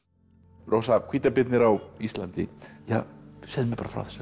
rósa hvítabirnir á Íslandi segðu mér bara frá þessari bók